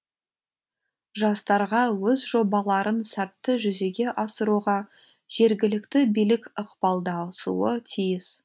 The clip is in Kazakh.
жастарға өз жобаларын сәтті жүзеге асыруға жергілікті билік ықпалдасуы тиіс